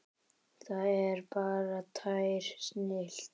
Það er bara tær snilld.